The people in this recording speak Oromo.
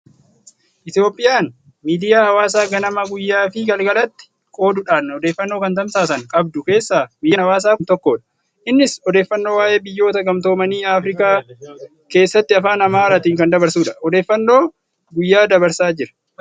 Itoophiyaan miidiyaa hawaasaa ganama, guyyaa fi galgalati qooduudhaan odeeffannoo kan tamsaasan qabdu keessaa miidiyaan Hawaasaa kun tokkodha. Innis odeeffannoo waa'ee biyyoota gamtoomanii Afirakaa keessatti afaan Amaaraatiin kan dabarsudha. Odeeffannoo guyyaa dabarsaa jira.